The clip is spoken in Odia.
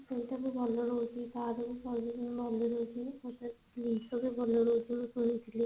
ସେଇଟା ବି ଭଲ ରହୁଛି ତାଧିରେ ଭଲ servicing ଭଲ ରହୁଛି ସେଇତରେ ଜିନିଷ ବି ଭଲ ରହୁଛି ମୁଁ ଶୁଣିଥିଲି